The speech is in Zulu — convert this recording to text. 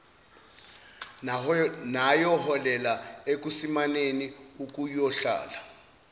nayoholela ekusimameni okuyohlala